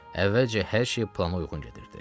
Əvvəlcə hər şey plana uyğun gedirdi.